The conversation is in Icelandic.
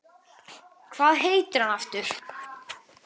Hvað heitir hann aftur?